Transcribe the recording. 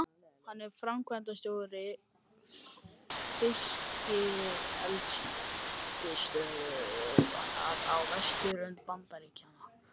Hann er framkvæmdastjóri fiskeldisstöðvar á vesturströnd Bandaríkjanna.